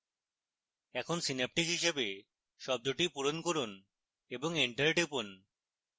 এখন synaptic হিসাবে শব্দটি পূরণ করুন এবং enter টিপুন